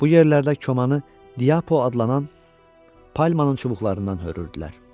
Bu yerlərdə komanı Diapo adlanan palmanın çubuqlarından hörürdülər.